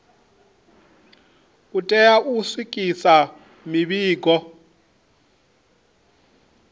u tea u swikisa mivhigo